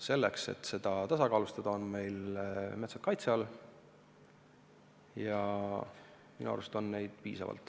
Selleks, et seda tasakaalustada, on osa metsa meil kaitse all ja minu arust on sellist metsa piisavalt.